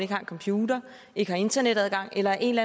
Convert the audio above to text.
har en computer ikke har internetadgang eller af en